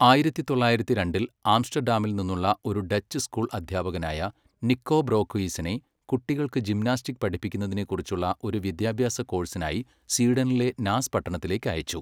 ആയിരത്തി തൊള്ളായിരത്തി രണ്ടിൽ ആംസ്റ്റഡാമിൽ നിന്നുള്ള ഒരു ഡച്ച് സ്കൂൾ അദ്ധ്യാപകനായ നിക്കോ ബ്രോഖുയിസനെ കുട്ടികൾക്ക് ജിംനാസ്റ്റിക് പഠിപ്പിക്കുന്നതിനെക്കുറിച്ചുള്ള ഒരു വിദ്യാഭ്യാസ കോഴ്സിനായി സ്വീഡനിലെ നാസ് പട്ടണത്തിലേക്ക് അയച്ചു.